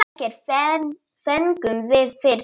Ekkert fengum við fyrri daginn.